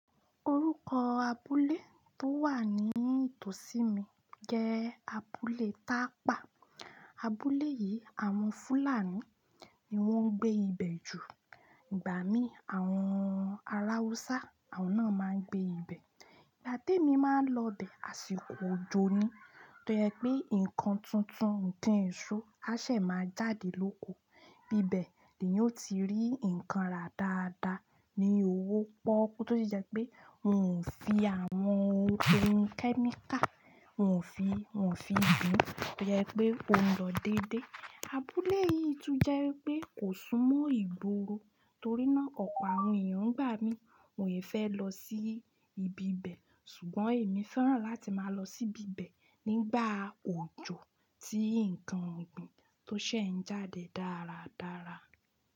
Orúkọ abúlé tó wà ní ìtòsí mi jẹ́ abúlé Tápà. Abúlé yìí àwọn Fúlàní ni wọ́n ń gbé ibẹ̀ jù. Ìgbà mí àwọn alawusa àwọn náà máa gbé ibí bẹ ìgbá témi máa ń lọ bẹ̀ àsìkò òjò ni. Tó jẹ́ pé nǹkan tuntun nǹkan ìṣó a ṣè máa jáde lóko. Ibibẹ̀ ni yóò ti rí ǹkan rara dáadáa ní owó pọ́kú tó sì jẹ́ pé òún fi àwọn ohun tí ń kẹ́ míkà, òún fi, òún fi ìgbín tó jẹ́ pé ó ń lọ dédé. Abúlé yìí tún jẹ́ pé kò sún mọ́ ìgboro torí náà ọ̀pọ̀ àwọn èèyàn gbà mí wọn i fẹ́ lọ sí ibi bẹ̀ ṣùgbọ́n èmi fẹ́ràn láti máa lọ sí bíbẹ̀ nígbà òjò tí nǹkan ọ̀gbìn tó ṣè ń jáde dáradára.